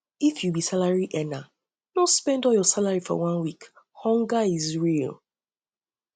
if you be salary earner no spend all your salary for one week hunger is real